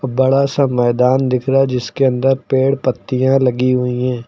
बड़ा सा मैदान दिख रहा जिसके अंदर पेड़ पत्तियां लगी हुई है।